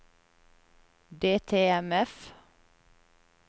DTMF